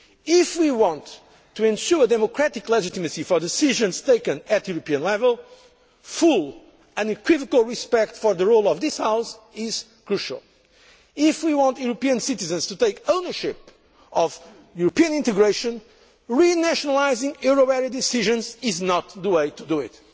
open. If we want to ensure democratic legitimacy for decisions taken at European level, full unequivocal respect for the role of this House is crucial. If we want European citizens to take ownership of European integration, re nationalising euro area decisions is not the way to